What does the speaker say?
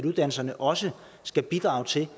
uddannelserne også skal bidrage til